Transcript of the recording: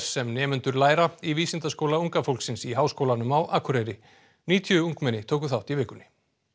sem nemendur læra í vísindaskóla unga fólksins í Háskólanum á Akureyri níutíu ungmenni tóku þátt í vikunni